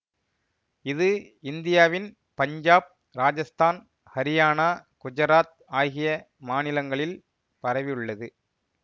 இது இந்தியாவின் பஞ்சாப் ராஜஸ்தான் ஹரியானா குஜராத் ஆகிய மாநிலங்களில் பரவியுள்ளது